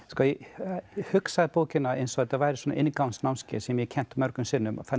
ég hugsaði bókina eins og þetta væri inngangsnámskeið sem ég hef kennt mörgum sinnum þannig að